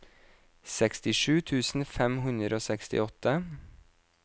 sekstisju tusen fem hundre og sekstiåtte